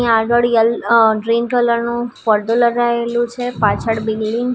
અહીં આગળ યેલ અહ ગ્રીન કલર નું પડદો લગાયેલો છે પાછળ બિલ્ડીંગ --